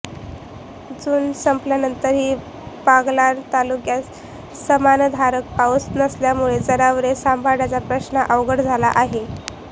जून संपल्यानंतरही बागलाण तालुक्यात समाधानकारक पाऊस नसल्यामुळे जनावरे सांभाळण्याचा प्रश्न अवघड झाला आहे